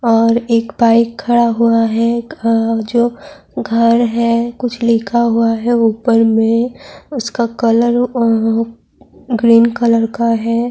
اور ایک بائیک کھڈا ہوا ہے، جو گھر ہے کچھ لکھا ہوا ہے اپر مے اسکا کلر گرین کلر کا ہے-